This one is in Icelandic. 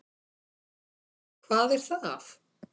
Hvar er það?